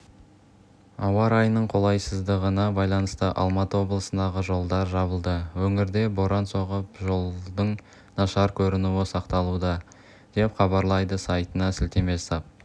ауа райының қолайсыздығына байланысты алматы облысындағы жолдар жабылды өңірде боран соғып жолдың нашар көрінуі сақталуда деп хабарлайды сайтына сілтеме жасап